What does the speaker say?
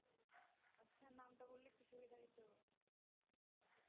আচ্ছা নামটা বললে একটু সুবিধা হইতো